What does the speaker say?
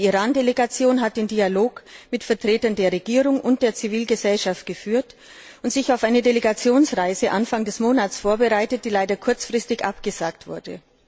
Die Iran Delegation hat einen Dialog mit Vertretern der Regierung und der Zivilgesellschaft geführt und sich auf eine Delegationsreise Anfang des Monats vorbereitet, die leider kurzfristig abgesagt wurde.